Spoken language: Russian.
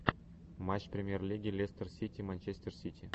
матч премьер лиги лестер сити манчестер сити